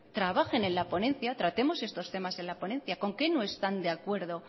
trabajen en la ponencia tratemos estos temas en la ponencia con qué no están de acuerdo